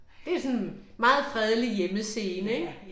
Det er sådan meget fredelig hjemmescene ik